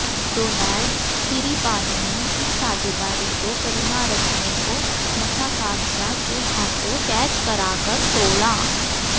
Donald Tiripano ने इस साझेदारी को करूनारत्ने को मसाकाद्जा के हाथों कैच कराकर तोड़ा